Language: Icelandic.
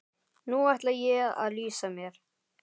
Nú ætla ég að lýsa mér.